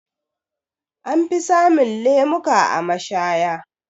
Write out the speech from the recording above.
Anfi samun lemuka a mashaya.